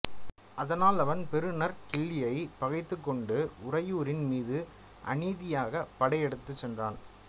அதனால் அவன் பெருநற்கிள்ளியைப் பகைத்துக்கொண்டு உறையூரின் மீது அநீதியாகப் படை எடுத்துச் சென்றான்